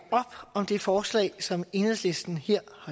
op om det forslag som enhedslisten